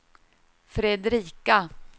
Fredrika